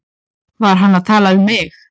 Var hann að tala um mig?